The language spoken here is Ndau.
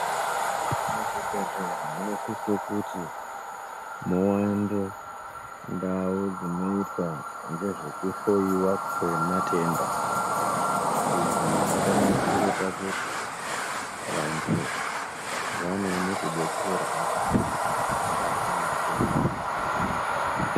Muzvibhehlera munosise kuti muwande ndau dzinoita nezvekuhloyiwa kwematenda. Izvi zvakanakire pakuti vantu vanoone kudetserwe pamatenda avanorwara ndiwo.